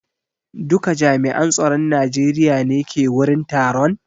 Duka jami'an tsaron Najeriya ne ke wurin taron?